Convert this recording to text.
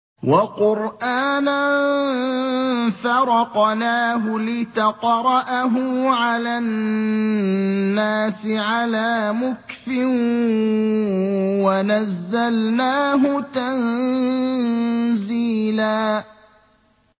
وَقُرْآنًا فَرَقْنَاهُ لِتَقْرَأَهُ عَلَى النَّاسِ عَلَىٰ مُكْثٍ وَنَزَّلْنَاهُ تَنزِيلًا